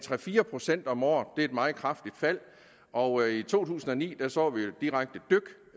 fire procent om året det er et meget kraftigt fald og i to tusind og ni så vi et direkte